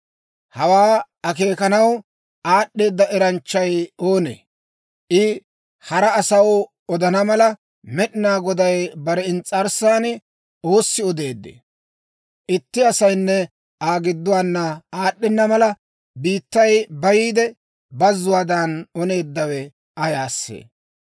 Hawaa akeekanaw aad'd'eeda eranchchay oonee? I hara asaw odana mala, Med'inaa Goday bare ins's'arssan oossi odeeddee? Itti asaynne Aa gidduwaana aad'd'ena mala, biittay bayiide, bazzuwaadan oneeddawe ayaasee?